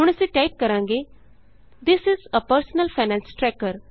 ਹੁਣ ਅਸੀਂ ਟਾਈਪ ਕਰਾਂਗੇ this is A personal finance tracker